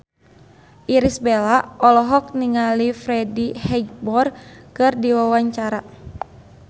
Irish Bella olohok ningali Freddie Highmore keur diwawancara